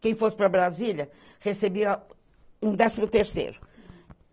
Quem fosse para Brasília recebia um décimo terceiro.